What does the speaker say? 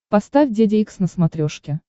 поставь деде икс на смотрешке